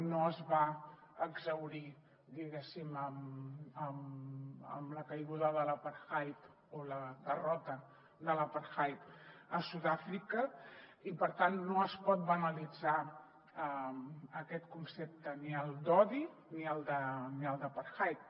no es va exhaurir diguéssim amb la caiguda de l’apartheid o la derrota de l’apartheid a sud àfrica i per tant no es pot banalitzar aquest concepte ni el d’odi ni el d’apartheid